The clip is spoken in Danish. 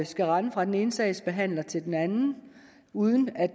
skal rende fra den ene sagsbehandler til den anden uden at